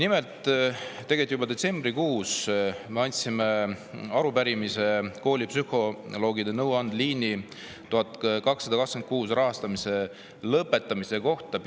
Nimelt, tegelikult juba detsembrikuus me andsime peaministrile üle arupärimise koolipsühholoogide nõuandeliini 1226 rahastamise lõpetamise kohta.